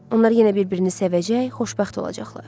Onlar yenə bir-birini sevəcək, xoşbəxt olacaqlar.